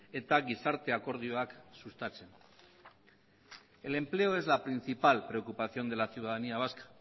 eta gizarte akordioak sustatzen el empleo es la principal preocupación de la ciudadanía vasca